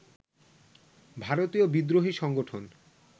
ভারতীয় বিদ্রোহী সংগঠন